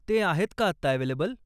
ते आहेत का आत्ता अव्हेलेबल?